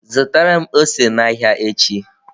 Zụtara m ose n'ahịa echi